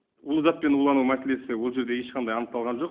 улы затпен улану мәселесі ол жерде ешқандай анықталған жоқ